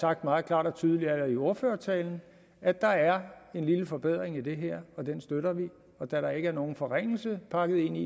jeg meget klart og tydeligt i ordførertalen at der er en lille forbedring i det her og den støtter vi og da der ikke er nogen forringelse pakket ind i